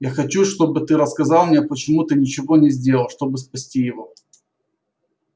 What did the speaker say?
я хочу чтобы ты рассказал мне почему ты ничего не сделал чтобы спасти его